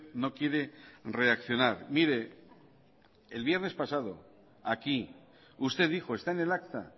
no quiere reaccionar mire el viernes pasado aquí usted dijo está en el acta